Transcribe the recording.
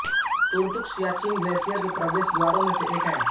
Turtuk Siachen glacier के प्रवेश द्वारों में से एक है